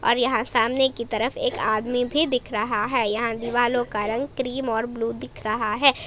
और यहां सामने की तरफ एक आदमी भी दिख रहा है यहां दिवालो का रंग क्रीम और ब्लू दिख रहा है।